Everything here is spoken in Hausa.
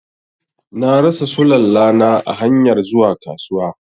Na rasa Sulalla na a hanyar zuwa kasuwa.